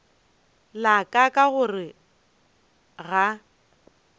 la ka ka gore ga